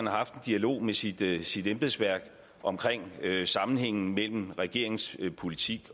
har haft en dialog med sit sit embedsværk omkring sammenhængen mellem regeringens politik